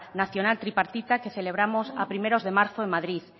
nacional tripartita que celebramos a primeros de marzo en madrid